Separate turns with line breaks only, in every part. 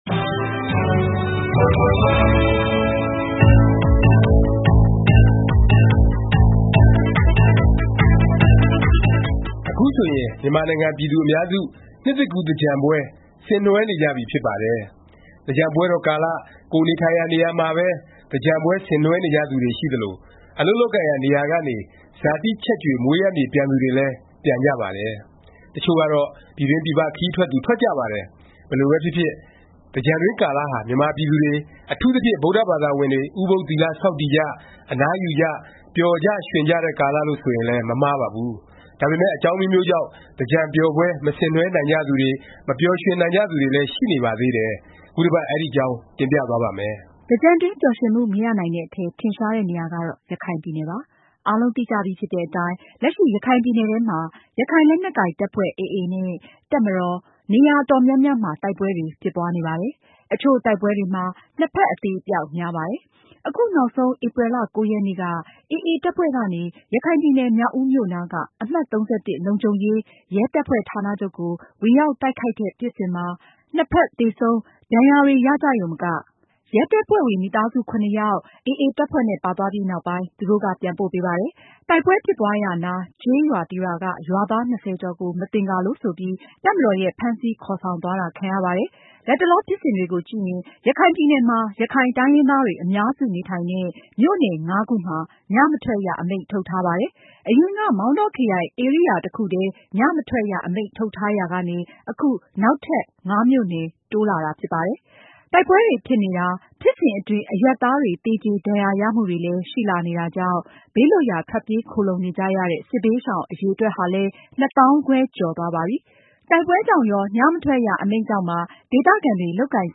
အခု
ဆိုရင် မြန်မာနိုင်ငံ ပြည်သူအများစု နှစ်သစ်ကူး သင်္ကြန်ပွဲ ဆင်နွဲှနေကြပြီ ဖြစ်ပါတယ်။ သင်္ကြန်ပွဲတော် ကာလ ကိုယ်နေထိုင်ရာ နေရာမှာပဲ သင်္ကြန်ပွဲ ဆင်နဲွဲှကြသူတွေ ရှိသလို၊ အလုပ်လုပ်ကိုင်ရာ နေရာကနေ ဇာတိချက်ကြွေ မွေးရပ်မြေ ပြန်သူတွေလည်း ပြန်ကြပါတယ်။ တစ်ချို့ကတော့ ပြည်တွင်းပြည်ပ ခရီးထွက်သူ ထွက်ကြပါတယ်။ ဘယ်လိုပဲဖြစ်ဖြစ် သင်္ကြန်တွင်း ကာလဟာ မြန်မာပြည်သူတွေ၊ အထူးသဖြင့် ဗုဒ္ဓဘာသာဝင်တွေ ဥပုသ်သီလ ဆောက်တည်ကြ၊ အနားယူကြ၊ ပျော်ကြရွှင်ကြတဲ့ ကာလလို့ ဆိုရင်လည်း မမှားပါဘူး။ ဒါပေမယ့် အကြောင်းအမျိုးမျိုးကြောင့် သင်္ကြန်ပျော်ပွဲ မဆင်နွဲှနိုင်ကြသူတွေ၊ မပျော်ရွှင်နိုင်ကြသူတွေလည်း ရှိနေပါသေးတယ်။ ခုတစ်ပတ် အဲဒီအကြောင်း တင်ပြသွားပါ့မယ်
။ သင်္ကြန်တွင်း ပျော်ရွှင်မှုမရနိုင်တဲ့အထဲ ထင်ရှားတဲ့နေရာကတော့ ရခိုင်ပြည်နယ် ဖြစ်ပါတယ်။ အားလုံးသိကြပြီဖြစ်တဲ့အတိုင်း လက်ရှိ ရခိုင်ပြည်နယ်ထဲမှာ ရခိုင်လက်နက်ကိုင် တပ်ဖွဲ့ AA နဲ့ တပ်မတော်၊ နေရာအတော်များများမှာ တိုက်ပွဲတွေ ဖြစ်ပွားနေပါတယ်။ အချို့တိုက်ပွဲတွေမှာ နှစ်ဖက် အသေအပျောက် များပါတယ်။ အခုနောက်ဆုံး ဧပြီ ၉ ရက်နေ့က AA တပ်ဖွဲ့ကနေ ရခိုင်ပြည်နယ်၊ မြောက်ဦးမြို့နားက အမှတ် လုံခြုံရေး ရဲတပ်ဖွဲ့ဌာနချုပ်ကို ဝင်ရောက်တိုက်ခိုက်တဲ့ ဖြစ်စဉ်မှာ နှစ်ဖက် သေဆုံး ဒါဏ်ရာတွေ ရကြရုံမက ရဲတပ်ဖွဲ့ဝင် မိသားစု ယောက် AA တပ်ဖွဲ့နဲ့ ပါသွားပြီး နောက်ပိုင်း သူတို့က ပြန်ပို့ပေးပါတယ်။ တိုက်ပွဲဖြစ်ပွားရာနား ကျေးရွာ တစ်ရွာက ရွာသား ၂၀ ကျော်ကို မသင်္ကာလို့ ဆိုပြီး တပ်မတော်ရဲ့ ဖမ်းဆီး ခေါ်ဆောင်သွားတာ ခံရပါတယ်။ လတ်တလော ဖြစ်စဉ်တွေကိုကြည့်ရင် ရခိုင်ပြည်နယ်မှာ ရခိုင်တိုင်းရင်းသားတွေ အများစု နေထိုင်တဲ့ မြို့နယ် ခုမှာ ည မထွက်ရ အမိန့်ထုတ်ထားပါတယ်။ အရင်က မောင်တောခရိုင် ဧရိယာ တစ်ခုထဲ ည မထွက်ရ အမိန့်ထုတ်ထားရာကနေ အခု နောက်ထပ် မြို့နယ် တိုးလာတာ ဖြစ်ပါတယ်။ တိုက်ပွဲတွေ ဖြစ်နေတာ၊ ဖြစ်စဉ်အတွင်း အရပ်သားတွေ သေကြေဒါဏ်ရာရမှုတွေလည်း ရှိလာနေတာကြောင့် ဘေးလွတ်ရာ ထွက်ပြေးခိုလှုံနေကြရတဲ့ စစ်ဘေးရှောင် အရည်အတွက်ဟာလည်း ၂ သောင်းခွဲ ကျော်သွားပါပြီ။ တိုက်ပွဲကြောင့်ရော၊ ည မထွက်ရ အမိန့်ကြောင့်ပါ ဒေသခံတွေ လုပ်ကိုင်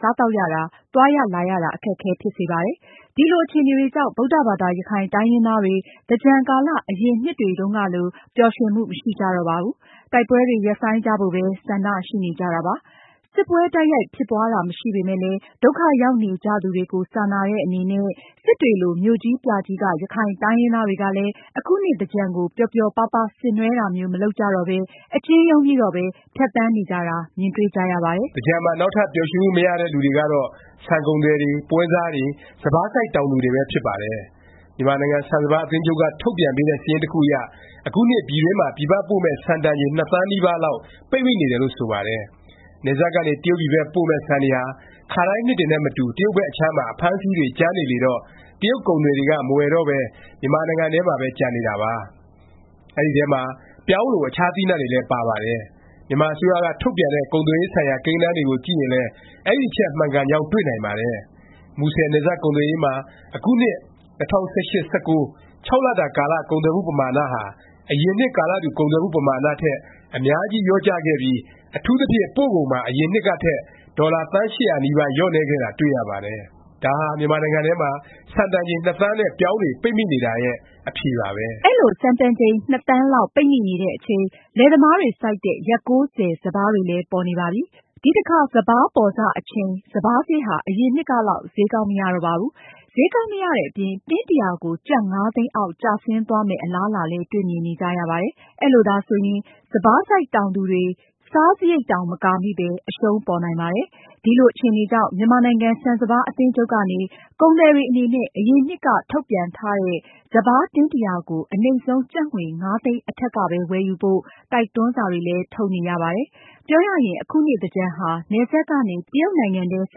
စားသောက်ရတာ၊ သွားရလာရတာ အခက်အခဲ ဖြစ်စေပါတယ်။ ဒီလို အခြေအနေတွေကြောင့် ဗုဒ္ဓဘာသာ ရခိုင်တိုင်းရင်းသားတွေ သင်္ကြန်ကာလ အရင်နှစ်တွေတုန်းကလို ပျော်ရွှင်မှု မရှိကြတော့ပါဘူး။ တိုက်ပွဲတွေ ရပ်ဆိုင်းကြဖို့ပဲ ဆန္ဒ ရှိနေကြတာပါ။ စစ်ပွဲ တိုက်ရိုက်ဖြစ်ပွားတာ မရှိပေမယ့်လည်း ဒုက္ခရောက်နေကြသူတွေကို စာနာတဲ့ အနေနဲ့ စစ်တွေလို မြို့ကြီးပြကြီးက ရခိုင်တိုင်းရင်းသားတွေကလည်း အခုနှစ်သင်္ကြန်ကို ပျော်ပျော်ပါးပါး ဆင်နွဲှတာမျိုး မလုပ်ကြတော့ပဲ အကျဉ်းရုံးပြီးတော့ပဲ ဖြတ်သန်းနေကြတာ မြင်တွေ့ကြရပါတယ်။
သင်္ကြန်မှာ နောက်ထပ် ပျော်ရွှင်မှု မရတဲ့ လူတွေကတော့ ဆန်ကုန်သည်တွေ၊ ပွဲစားတွေ၊ စပါးစိုက် တောင်သူတွေပဲ ဖြစ်ပါတယ်။ မြန်မာနိုင်ငံ ဆန်စပါး အသင်းချုပ်က ထုတ်ပြန်ပေးတဲ့ စာရင်းတစ်ခုအရ အခုနှစ် ပြည်တွင်းမှာ ပြည်ပပို့မယ့် ဆန်တန်ချိန် ၂ သန်းနီးပါးလောက် ပိတ်မိနေတယ်လို့ ဆိုပါတယ်။ နယ်စပ်ကနေ တရုတ်ပြည်ဘက် ပို့မယ့် ဆန်တွေဟာ ခါတိုင်းနှစ်တွေနဲ့မတူ တရုတ်ဘက် အခြမ်းမှာ အဖမ်းအဆီးတွေ ကြမ်းနေလေတော့ တရုတ်ကုန်သည်တွေက မဝယ်တော့ပဲ မြန်မာနိုင်ငံထဲမှာပဲ ကျန်နေတာပါ။ အဲဒီထဲမှာ ပြောင်းလို အခြား သီးနှံတွေလည်း ပါပါတယ်။ မြန်မာအစိုးရက ထုတ်ပြန်တဲ့ ကုန်သွယ်ရေးဆိုင်ရာ ကိန်းဂဏန်းတွေကို ကြည့်ရင်လည်း အဲဒီအချက် မှန်ကန်ကြောင်း တွေ့နိုင်ပါတယ်။ မူဆယ် နယ်စပ် ကုန်သွယ်ရေးမှာ အခုနှစ် ၂၀၁၈-၁၉ လတာကာလ ကုန်သွယ်မှု ပမာဏဟာ အရင်နှစ် ကာလတူ ကုန်သွယ်မှု ပမာဏ ထက် အများကြီး လျော့ကျခဲ့ပြီး အထူးသဖြင့် ပို့ကုန်မှာ အရင်နှစ်ကထက် ဒေါ်လာ သန်း ၈၀၀ နီးပါး လျော့နည်းခဲ့တာ တွေ့ရပါတယ်။ ဒါဟာ မြန်မာနိုင်ငံထဲမှာ ဆန်တန်ချိန် ၂ သန်းနဲ့ ပြောင်းတွေ ပိတ်မိနေတာရဲ့ အဖြေပါပဲ။
အဲလို ဆန်တန်ချိန် ၂ သန်းလောက် ပိတ်မိနေတဲ့အချိန် လယ်သမားတွေ စိုက်တဲ့ ရက်၉၀ စပါးတွေလည်း ပေါ်နေပါပြီ။ ဒီအခါ စပါးပေါ်စ အချိန် စပါးဈေးဟာ အရင်နှစ်ကလောက် ဈေးကောင်း မရတော့ပါဘူး။ ဈေးကောင်းမရတဲ့အပြင် တင်း ၁၀၀ ကို ကျပ် ၅ သိန်းအောက် ကျဆင်းသွားမယ့် အလားအလာလည်း တွေ့မြင်နေကြရပါတယ်။ အဲလိုဆိုရင် စပါးစိုက်တောင်သူတွေ စိုက်စားရိတ်တောင် မကာမိပဲ အရှုံးပေါ်နိုင်ပါတယ်။ ဒီလို အခြေအနေကြောင့် မြန်မာနိုင်ငံ ဆန်စပါး အသင်းချုပ်ကနေ ကုန်သည်တွေ အနေနဲ့ အရင်နှစ်က ထုတ်ပြန်ထားတဲ့ စပါး တင်း ၁၀၀ ကို အနိမ့်ဆုံး ကျပ်ငွေ ၅ သိန်း အထက်ကပဲ ဝယ်ယူဖို့ တိုက်တွန်းစာတွေလည်း ထုတ်နေရပါတယ်။ ပြောရရင် အခုနှစ် သင်္ကြန်ဟာ နယ်စပ်ကနေ တရုတ်နိုင်ငံထဲ ဆ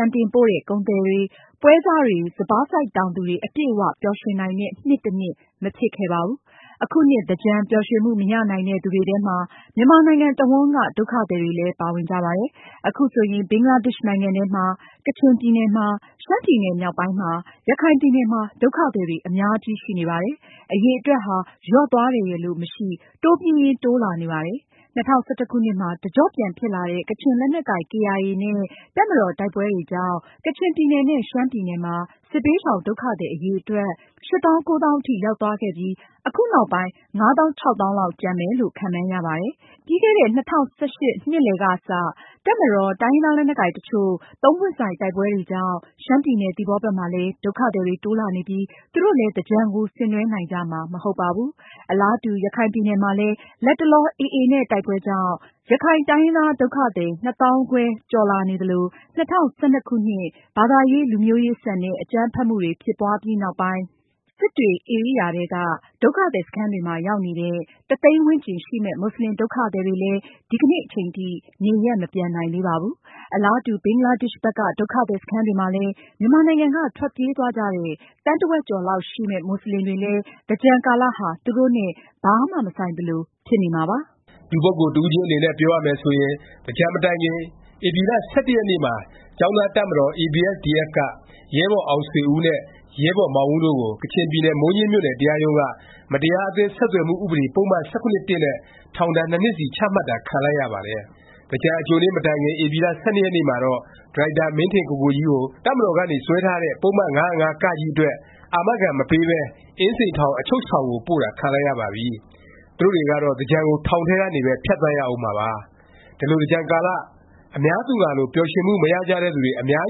န်တင်ပို့တဲ့ ကုန်သည်တွေ၊ ပွဲစားတွေ၊ စပါးစိုက် တောင်သူတွေ အပြည့်အ၀ ပျော်ရွှင်နိုင်တဲ့ နှစ်တစ်နှစ် မဖြစ်ခဲ့ပါဘူး။ အခုနှစ် သင်္ကြန် ပျော်ရွှင်မှု မရနိုင်တဲ့ သူတွေထဲမှာ မြန်မာနိုင်ငံ တစ်ဝှမ်းက ဒုက္ခသည်တွေလည်း ပါဝင်ကြပါတယ်။ အခုဆိုရင် ဘင်္ဂလားဒေ့ရှ်နိုင်ငံထဲမှာ၊ ကချင်ပြည်နယ်မှာ၊ ရှမ်းပြည်နယ် မြောက်ပိုင်းမှာ၊ ရခိုင်ပြည်နယ်မှာ ဒုက္ခသည်တွေ အများကြီးရှိနေပါတယ်။ အရည်အတွက်ဟာ လျော့သွားတယ်ရယ်လို့ မရှိ၊ တိုးပြီးရင်း တိုးလာနေပါတယ်။ ၂၀၁၁ ခုနှစ်မှာ တကျော့ပြန်ဖြစ်လာတဲ့ ကချင်လက်နက်ကိုင် KIA နဲ့ တပ်မတော် တိုက်ပွဲတွေကြောင့် ကချင်ပြည်နယ်နဲ့ ရှမ်းပြည်နယ်မှာ စစ်ဘေးရှောင် ဒုက္ခသည် အရည်အတွက် ၈ သောင်း ၉ သောင်းအထိရောက်သွားခဲ့ပြီး အခုနောက်ပိုင်း ၅ -၆ သောင်းလောက် ကျန်မယ်လို့ ခန့်မှန်းရပါတယ်။ ပြီးခဲ့တဲ့ ၂၀၁၈ နှစ်လည်ကစ တပ်မတော်၊ တိုင်းရင်းသား လက်နက်ကိုင် တစ်ချို့ ပွင့်ဆိုင် တိုက်ပွဲတွေကြောင့် ရှမ်းပြည်နယ် သီပေါဘက်မှာလည်း ဒုက္ခသည်တွေ တိုးလာနေပြီး သူတို့လည်း သင်္ကြန်ကို ဆင်နွဲှနိုင်ကြမှာ မဟုတ်ပါဘူး။ အလားတူ ရခိုင်ပြည်နယ်မှာလည်း လတ်တလော AA နဲ့ တိုက်ပွဲကြောင့် ရခိုင်တိုင်းရင်းသား ဒုက္ခသည် ၂ သောင်းခွဲ ကျော်လာနေသလို ၂၀၁၂ ခုနှစ် ဘာသာရေး လူမျိုးရေးဆန်တဲ့ အကြမ်းဖက်မှုတွေ ဖြစ်ပွားပြီးနောက်ပိုင်း စစ်တွေ ဧရိယာထဲက ဒုက္ခသည် စခန်းတွေမှာ ရောက်နေတဲ့ တစ်သိန်းဝန်းကျင်ရှိမယ့် မူဆလင် ဒုက္ခသည်တွေလည်း ဒီနေ့အချိန်ထိ နေရပ် မပြန်နိုင်သေးပါဘူး။ အလားတူ ဘင်္ဂလားဒေ့ရှ်ဘက်က ဒုက္ခသည် စခန်းတွေမှာလည်း မြန်မာနိုင်ငံက ထွက်ပြေးသွားကြတဲ့ သန်းတစ်ဝက်ကျော်လောက်ရှိမယ့် မူဆလင်တွေလည်း သင်္ကြန်ကာလ ဟာ သူတို့နဲ့ ဘာမှ မဆိုင်သလို ဖြစ်နေမှာပါပဲ
။ လူပုဂ္ဂိုလ် တစ်ဦးချင်းတွေ အနေနဲ့ ပြောရမယ် ဆိုရင် သင်္ကြန်မတိုင်ခင် ဧပြီလ ၁၁ ရက်နေ့မှာ ကျောင်းသားတပ်မတော် ABSDF က ရဲဘော်အောင်ဆွေဦးနဲ့ ရဲဘော် မောင်ဦး တို့ကို ကချင်ပြည်နယ် မိုးညှင်းမြို့နယ် တရားရုံးက မတရားအသင်း ဆက်သွယ်မှုဥပဒေ ပုဒ်မ ၁၇/၁ နဲ့ ထောင်ဒါဏ် ၂ နှစ်စီ ချမှတ်တာ ခံလိုက်ရပါတယ်။ သင်္ကြန် အကြိုနေ့ မတိုင်ခင် ဧပြီလ ၁၂ ရက်နေ့မှာတော့ ဒါရိုက်တာ မင်းထင်ကိုကိုကြီးကို တပ်မတော်ကနေ စွဲထားတဲ့ ပုဒ်မ ၅၀၅ အတွက် အာမခံ မပေးပဲ အင်းစိန်ထောင် အချုပ်ဆောင်ကို ပို့တာ ခံလိုက်ရပါပြီ။ သူတို့တွေကတော့ သင်္ကြန်ကို ထောင်ထဲကနေပဲ ဖြတ်သန်းရဦးမှာပါ။ ဒီလို သင်္ကြန်ကာလ အများသူငှာလို ပျော်ရွှင်မှု မရကြတဲ့ သူတွေ အများ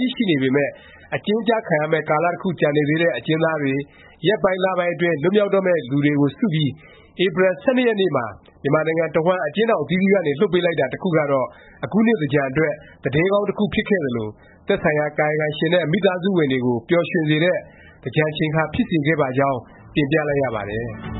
ကြီး ရှိနေပေမယ့် အကျဉ်းကျခံရမယ့် ကာလ တစ်ခု ကျန်နေသေးတဲ့ အကျဉ်းသားတွေ၊ ရက်ပိုင်းလ ပိုင်းအတွင်း လွတ်မြောက်တော့မယ့်သူတွေကို စုပြီး ဧပြီလ ၁၂ ရက်နေ့မှာ မြန်မာနိုင်ငံတဝှမ်း အကျဉ်းထောင် အသီးသီးကနေ လွှတ်ပေးလိုက်တာ တစ်ခုကတော့ အခုနှစ် သင်္ကြန်အတွက် သတင်းကောင်း တစ်ခုဖြစ်ခဲ့သလို၊ သက်ဆိုင်ရာ ကာယကံရှင်နဲ့ မိသားစုဝင်တွေကို ပျော်ရွှင်စေတဲ့ သင်္ကြန်ချိန်ခါ ဖြစ်စေခဲ့ပါကြောင်း တင်ပြလိုက်ရပါတယ်